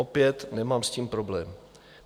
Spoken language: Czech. Opět s tím nemám problém.